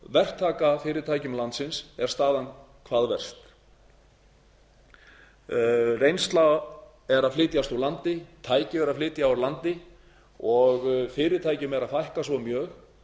verktakafyrirtækjum landsins er staðan hvað verst reynsla er að flytjast úr landi tæki eru að flytja úr landi og fyrirtækjum er að fækka svo mjög